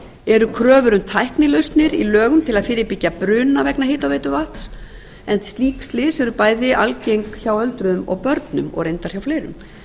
eru kröfur um tæknilausnir í lögum til að fyrirbyggja bruna vegna hitaveituvatns slík slys eru bæði algeng hjá öldruðum og börnum og reyndar hjá fleirum